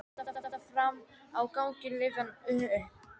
Allt í einu voru dyrnar fram á ganginn rifnar upp.